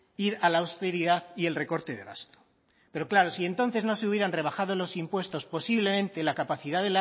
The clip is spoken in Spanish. ir a la austeridad y el recorte de gasto pero claro si entonces no se hubieran rebajado los impuestos posiblemente la capacidad